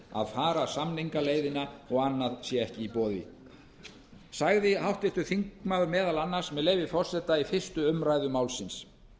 að fara samningaleiðina og annað sé ekki í boði sagði háttvirtur þingmaður meðal annars með leyfi forseta í fyrstu umræðu málsins